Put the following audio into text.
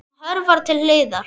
Hún hörfar til hliðar.